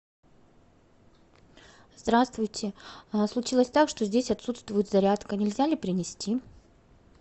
здравствуйте случилось так что здесь отсутствует зарядка нельзя ли принести